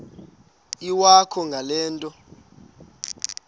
iwakho ngale nto